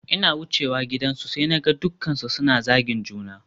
Ina wucewa gidansu sai naga dukkansu suna zagin juna